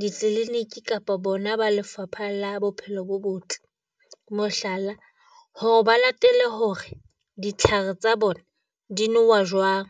ditliliniki kapa bona ba Lefapha la Bophelo bo Botle, mohlala, hore ba latele hore ditlhare tsa bona di nowa jwang.